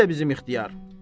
Nərdə bizim ixtiyar?